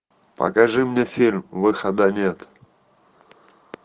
покажи мне фильм выхода нет